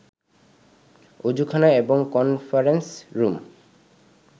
ওজুখানা এবং conference room